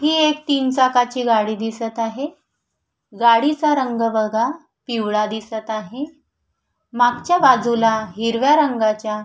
ही एक तीन चाकाची गाडी दिसत आहे गाडीचा रंग बघा पिवळा दिसत आहे मागच्या बाजूला हिरव्या रंगाच्या--